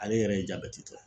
Ale yɛrɛ ye jabɛti tɔ